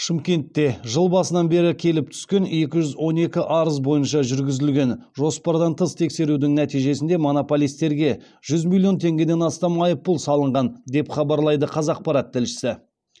шымкентте жыл басынан бері келіп түскен екі жүз он екі арыз бойынша жүргізілген жоспардан тыс тексерудің нәтижесінде монополистерге жүз миллион теңгеден астам айыппұл салынған деп хабарлайды қазақпарат тілшісі